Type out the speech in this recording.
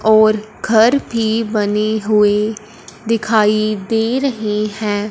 और घर भी बने हुए दिखाई दे रहे हैं।